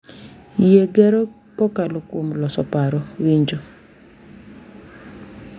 Yie gero kokalo kuom loso paro, winjo,